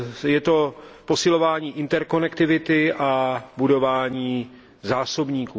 Je to posilování interkonektivity a budování zásobníků.